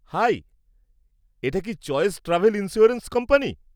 High, এটা কি choice travel insurance company?